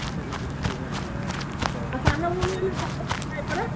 ତୋ ସାନ ଭଉଣୀ ପରା